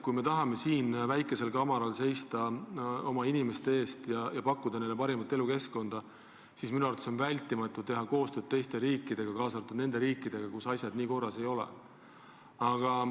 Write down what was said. Kui me tahame siin väikesel maakamaral oma inimeste eest seista ja pakkuda neile parimat elukeskkonda, siis on minu arvates hädavajalik teha koostööd teiste riikidega, kaasa arvatud nende riikidega, kus asjad nii korras ei ole.